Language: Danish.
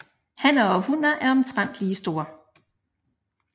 Hanner og hunner er omtrent lige store